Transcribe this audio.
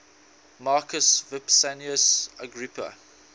marcus vipsanius agrippa